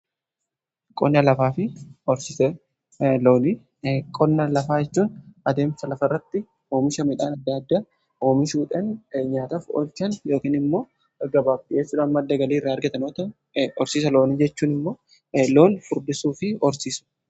qonna lafaa jechuun adeemsa lafa irratti oomisha midhaan adda addaa oomishudhan nyaataf olchan yookiin immoo gabaa gurgurachuun madda galii irraa argatan yoo ta'u horsiisa loonii jechuun immoo loon furdisuu fi horsiisuu jedhudha.